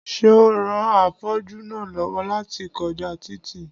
Seun ran afọ́jú náà lọ́wọ́ láti kọjá títì